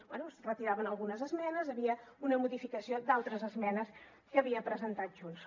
bé es retiraven algunes esmenes hi havia una modificació d’altres esmenes que havia presentat junts